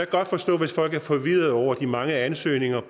godt forstå hvis folk er forvirrede over de mange ansøgninger